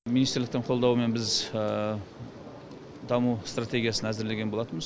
министрліктің қолдауымен біз даму стратегиясын әзірлеген болатынбыз